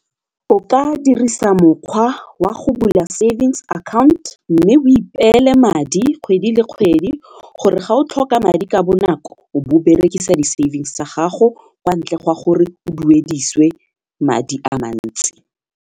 O ka dirisa mokgwa wa go bula savings account mme o ipeele madi kgwedi le kgwedi gore ga o tlhoka madi ka bonako o bo o berekisa di savings tsa gago kwa ntle ga gore o duedisiwe madi a mantsi.